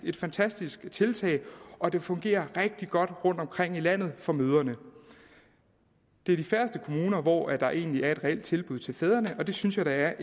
et fantastisk tiltag og det fungerer rigtig godt rundtomkring i landet for mødrene det er de færreste kommuner hvor der egentlig er et reelt tilbud til fædrene og det synes jeg da er